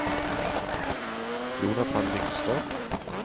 Jonathan Lyngstad